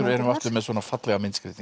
aftur með svona fallegar myndskreytingar